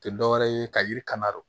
Tɛ dɔwɛrɛ ye ka yiri kandu